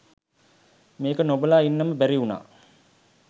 මේක නොබලා ඉන්නම බැරිවුනා.